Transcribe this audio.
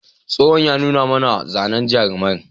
Tsohon ya nuna mana zanen jarumai.